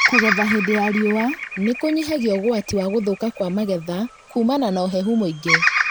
Kũgetha hĩndĩ ya riua nĩ kũnyihagia ugwati wa gũthũka kwa magetha kumana na ũhehu mũingĩ